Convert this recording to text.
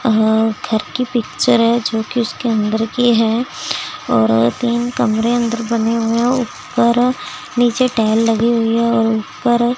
अह घर की पिक्चर है जो कि उसके अंदर की है और तीन कमरे अंदर बने हुए हैं ऊपर नीचे टाइल लगी हुई है और ऊपर--